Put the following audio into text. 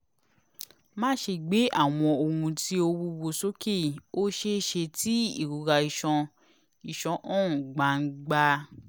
maṣe gbe awọn ohun ti o wuwo soke; o ṣeeṣe ti irora iṣan iṣan han gbangba